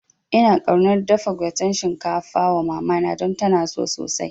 Ina kaunar dafa gwaten shinkafa wa mamana don tana so sosai